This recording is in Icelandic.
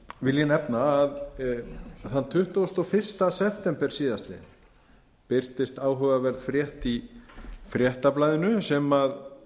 ég nefna að þann tuttugasta og fyrsta september síðastliðinn birtist áhugaverð frétt í fréttablaðinu sem